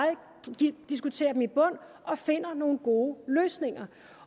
diskuterer dem i bund og finder nogle gode løsninger